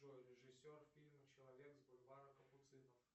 джой режиссер фильма человек с бульвара капуцинов